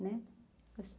Né